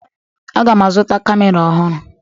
Aga m azụta camera ọhụrụ.